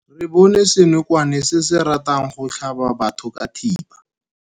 Re bone senokwane se se ratang go tlhaba batho ka thipa.